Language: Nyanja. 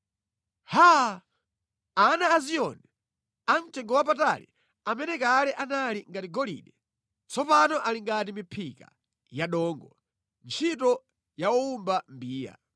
Haa! Ana a Ziyoni amtengowapatali amene kale anali ngati golide, tsopano ali ngati miphika ya dothi, ntchito ya owumba mbiya!